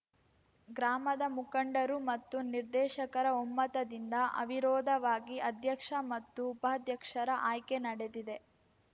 ಗ್ರಾಮದ ಮುಖಂಡರು ಮತ್ತು ನಿರ್ದೇಶಕರ ಒಮ್ಮತದಿಂದ ಅವಿರೋಧವಾಗಿ ಅಧ್ಯಕ್ಷ ಮತ್ತು ಉಪಾಧ್ಯಕ್ಷರ ಆಯ್ಕೆ ನಡೆದಿದೆ